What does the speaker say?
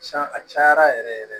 Can a cayara yɛrɛ yɛrɛ